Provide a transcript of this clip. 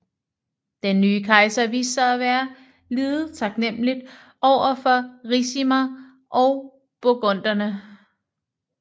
Den nye kejser viste sig at være lidet taknemmelig over for Ricimer og burgunderne